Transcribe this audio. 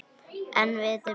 En viti menn!